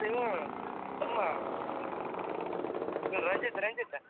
ಅವ್ನ್ ಲೇ ಡುಮ್ಮಾ ಇವ್ನ್ ರಂಜಿತ್ ರಂಜಿತ್.